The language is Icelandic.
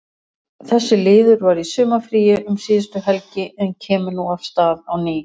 Þessi liður var í sumarfríi um síðustu helgi en kemur nú af stað á ný.